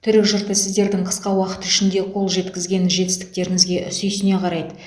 түрік жұрты сіздердің қысқа уақыт ішінде қол жеткізген жетістіктеріңізге сүйсіне қарайды